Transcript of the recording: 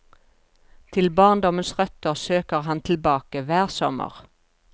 Til barndommens røtter søker han tilbake hver sommer.